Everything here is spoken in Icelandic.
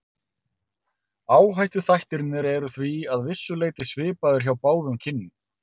Áhættuþættirnir eru því að vissu leyti svipaðir hjá báðum kynjum.